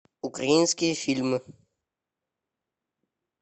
украинские фильмы